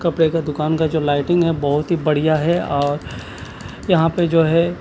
कपडे का दुकान का जो लाइटिंग है बहुत ही बड़िया है और यहाँ पे जो है--